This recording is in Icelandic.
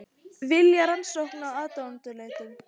Vilja rannsókn á ráðuneytum